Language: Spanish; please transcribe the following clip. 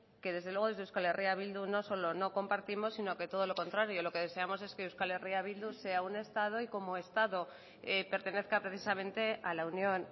que desde luego desde euskal herria bildu no solo no compartimos sino que todo lo contrario lo que deseamos es que euskal herria bildu sea un estado y como estado pertenezca precisamente a la unión